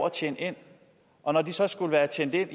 at tjene ind og når de så skulle være tjent ind